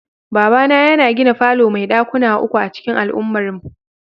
Babana yana gina falo mai dakuna uku a'cikin al'ummarmu.